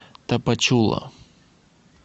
тапачула